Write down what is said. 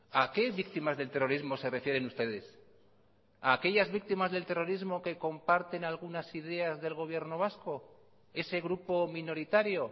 a qué víctimas del terrorismo se refieren ustedes a aquellas víctimas del terrorismo que comparten algunas ideas del gobierno vasco ese grupo minoritario